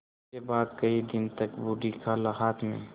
इसके बाद कई दिन तक बूढ़ी खाला हाथ में